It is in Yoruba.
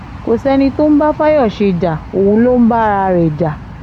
kò sẹ́ni tó ń bá fayọ̀ṣe ja òun ló ń ba ara ẹ̀ jẹ́